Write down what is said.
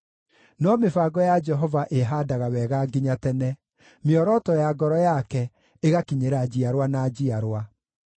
No mĩbango ya Jehova ĩĩhaandaga wega nginya tene, mĩoroto ya ngoro yake ĩgakinyĩra njiarwa na njiarwa.